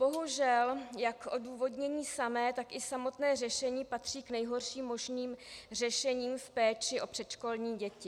Bohužel, jak odůvodnění samé, tak i samotné řešení patří k nejhorším možným řešením v péči o předškolní děti.